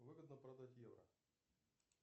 выгодно продать евро